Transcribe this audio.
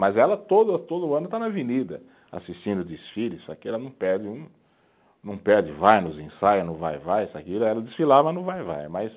Mas ela todo, todo ano está na avenida assistindo desfile, só que ela não perde um, não perde vai nos ensaios, no Vai-Vai, isso e aquilo, aí ela desfilava no Vai-Vai, mas